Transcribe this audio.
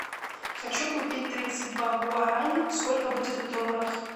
хочу купить тридцать два гуарани сколько будет в долларах